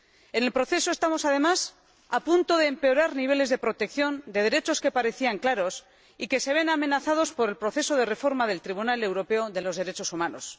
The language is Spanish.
En el proceso estamos, además, a punto de empeorar niveles de protección de derechos que parecían claros y que se ven amenazados por el proceso de reforma del Tribunal Europeo de Derechos Humanos.